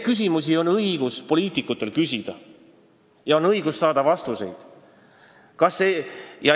Poliitikutel on õigus küsida neid küsimusi ja saada vastuseid.